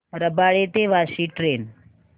रबाळे ते वाशी ट्रेन